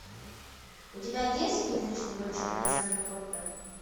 у тебя есть призрачный гонщик александра котта